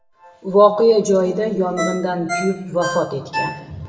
voqea joyida yong‘indan kuyib vafot etgan.